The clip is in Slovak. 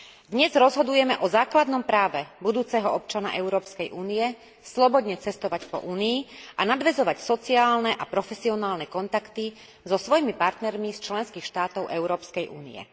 Dnes rozhodujeme o základnom práve budúceho občana Európskej únie slobodne cestovať po Únii a nadväzovať sociálne a profesionálne kontakty so svojimi partnermi z členských štátov Európskej únie.